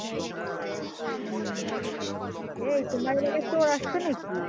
হম এই তোমার এলাকায় চোর এসেছে নাকি